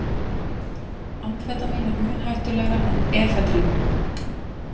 Amfetamín er mun hættulegra en efedrín.